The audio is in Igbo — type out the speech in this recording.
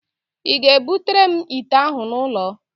Ị ga-ebutere m ite ahụ n'ụlọ?